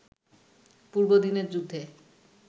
পূর্বদিনের যুদ্ধে